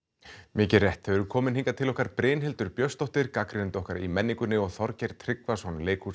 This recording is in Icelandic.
mikið rétt þau eru komin hingað til okkar Brynhildur Björnsdóttir gagnrýnandi okkar í menningunni og Þorgeir Tryggvason